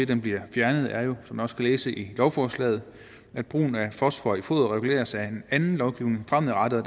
den bliver fjernet er jo som man også kan læse i lovforslaget at brugen af fosfor i foder reguleres af en anden lovgivning fremadrettet og